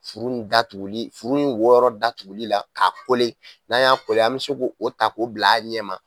Furu in datuguli furu in wo yɔrɔ datugu la k'a kole n'an y'a kole an be se k'o ta k'o bila a ɲɛ ma